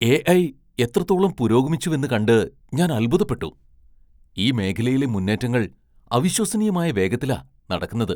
AI. എത്രത്തോളം പുരോഗമിച്ചുവെന്ന് കണ്ട് ഞാൻ അത്ഭുതപ്പെട്ടു. ഈ മേഖലയിലെ മുന്നേറ്റങ്ങൾ അവിശ്വസനീയമായ വേഗത്തിലാ നടക്കുന്നത്.